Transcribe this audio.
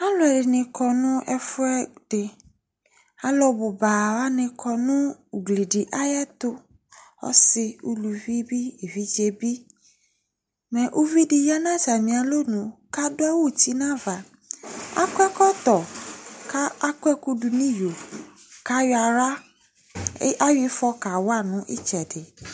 Alʋɛdɩnɩ kɔ nʋ ɛfʋɛdɩ Alʋ bʋ ba wanɩ kɔ nʋ ugli dɩ ayɛtʋ, ɔsɩ, uluvi bɩ, evidze bɩ Mɛ uvi dɩ ya nʋ atamɩ alɔnu kʋ adʋ awʋ uti nʋ ava Akɔ ɛkɔtɔn kʋ akɔ ɛkʋdʋ nʋ iyo kʋ ayɔ aɣla e ɛ ayɔ ɩfɔ kawa nʋ ɩtsɛdɩ